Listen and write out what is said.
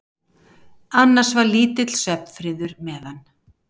Annars var lítill svefnfriður meðan